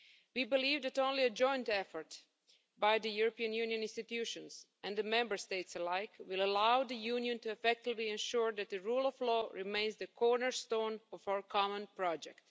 We believe that only a joint effort by the European Union institutions and the Member States alike will allow the Union to effectively ensure that the rule of law remains the cornerstone of our common project.